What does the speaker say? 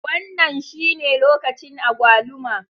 Wannan shine lokacin agwaluma.